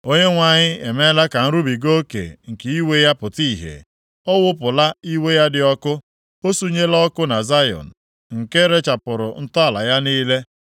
Onyenwe anyị emeela ka nrubiga oke nke iwe ya pụta ìhè; ọ wụpụla iwe ya dị ọkụ. O sunyela ọkụ na Zayọn, nke rechapụrụ ntọala ya niile.